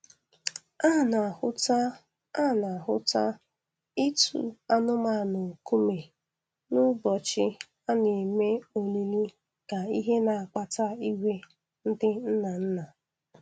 A na-ahụta A na-ahụta ịtụ anụmanụ nkume n'ụbọchị a na-eme olili ka ihe na-akpata iwe ndị nnanna